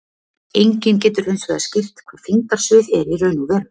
Enginn getur hins vegar skýrt hvað þyngdarsvið er í raun og veru.